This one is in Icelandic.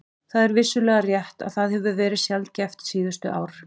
Það er vissulega rétt að það hefur verið sjaldgæft síðustu ár.